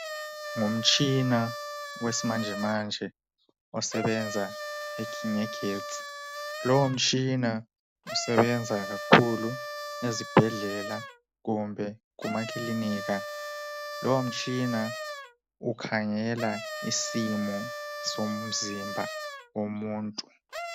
Ngumtshina wesimanje manje osebenza ngegetsi .Lowo mtshina usebenza kakhulu ezibhedlela kumbe kumakilinika. Lowo mtshina ukhangela isimo somzimba womuntu .